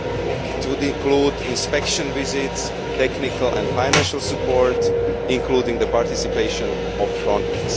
These would include inspection visits and technical and financial support, including the participation of Frontex.